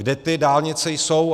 Kde ty dálnice jsou?